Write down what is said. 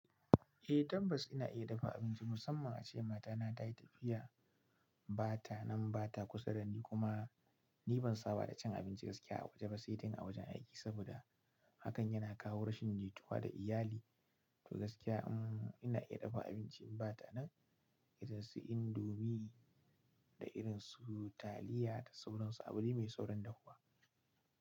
Eh tabbas ina iya dafa abinci, musamman ace matana tayi tafiya, bata nan, bata kusa da ni, kuma ni ban saba da cin abinci gaskiya a waje ba, sai dai a wajen aiki, saboda hakan yana kawo rashin jituwa da iyali. To gaskiya, ina iya dafa abinci in ba ta nan irin su Indomie da irinsu taliya da sauransu, abu dai mai saurin dafuwa.